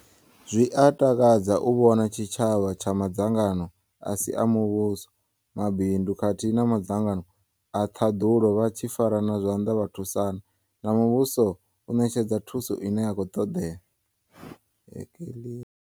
Zwi a takadza u vhona tshitshavha tsha madzangano a si a muvhuso, mabindu khathihi na madzangano a ṱhaḓulo vha tshi farana zwanḓa vha thusana na muvhuso u ṋetshedza thuso ine ya khou ṱoḓea.